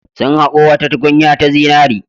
Sun haƙo wata tukunya ta zinare.